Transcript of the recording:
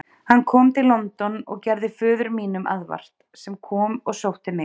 Hann kom til London og gerði föður mínum aðvart, sem kom og sótti mig.